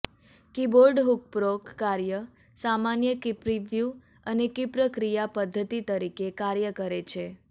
કીબોર્ડહુકપ્રોક કાર્ય સામાન્ય કીપ્રિવવ્યુ અને કીપ્રક્રિયા પદ્ધતિ તરીકે કાર્ય કરે છે